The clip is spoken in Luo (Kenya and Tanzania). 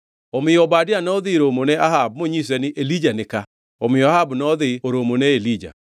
Omiyo Obadia nodhi romo ne Ahab monyise ni Elija ni ka. Omiyo Ahab nodhi oromo ne Elija.